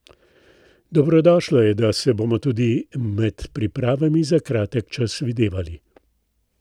Dobrodošlo je, da se bomo tudi med pripravami za kratek čas videvali.